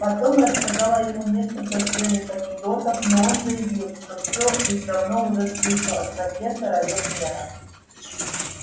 потом рассказала ему несколько свежих анекдотов но он заявил что всё их давно уже слышал от профессора вернера